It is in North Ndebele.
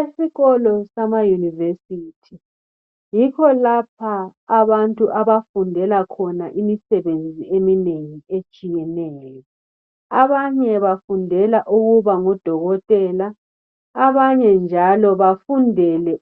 Esikolo sama yunivesithi yikho lapha abantu abafundela khona imisebenzi eminengi etshiyeneyo. Abanye bafundela ukuba ngodokotela abanye njalo bafundele